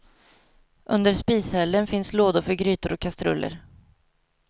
Under spishällen finns lådor för grytor och kastruller.